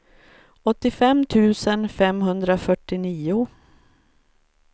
åttiofem tusen femhundrafyrtionio